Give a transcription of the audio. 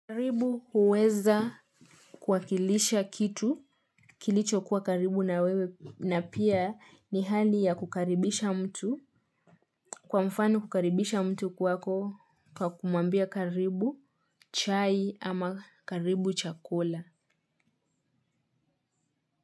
Karibu huweza kuakilisha kitu kilicho kuwa karibu na wewe na pia ni hali ya kukaribisha mtu kwa mfano kukaribisha mtu kwako kwa kumwambia karibu chai ama karibu chakula.